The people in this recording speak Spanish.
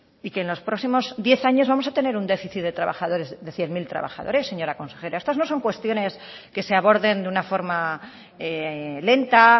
y que en los próximos diez años vamos a tener un déficit de cien mil trabajadores señora consejera estas no son cuestiones que se aborden de una forma lenta